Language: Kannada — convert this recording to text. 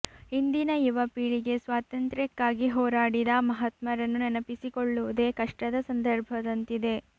ಇಂದಿನ ಯುವ ಪೀಳಿಗೆ ಸ್ವಾತಂತ್ರ್ಯಕ್ಕಾಗಿ ಹೋರಾಡಿದ ಮಹಾತ್ಮರನ್ನು ನೆನಪಿಸಿಕೊಳ್ಳುವುದೇ ಕಷ್ಟದ ಸಂದರ್ಭದಂತಿದೆ